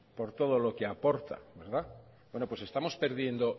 por todo lo que aporta bueno pues estamos perdiendo